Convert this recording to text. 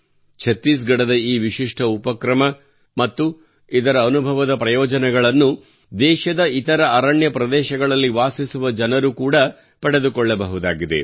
ಛತ್ತೀಸ್ ಗಢದ ಈ ವಿಶಿಷ್ಠ ಉಪಕ್ರಮ ಮತ್ತು ಇದರ ಅನುಭವಗಳ ಪ್ರಯೋಜನವು ದೇಶದ ಇತರ ಅರಣ್ಯ ಪ್ರದೇಶಗಳಲ್ಲಿ ವಾಸಿಸುವ ಜನರು ಕೂಡಾ ಪಡೆದುಕೊಳ್ಳಬಹುದಾಗಿದೆ